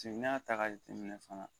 Paseke n'i y'a ta ka jate minɛ fana